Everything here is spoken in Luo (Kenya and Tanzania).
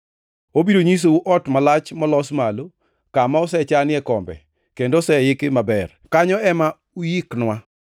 Obiro nyisou ot malach molos malo, kama osechanie kombe kendo oseiki; maber, kanyo ema uiknwa.”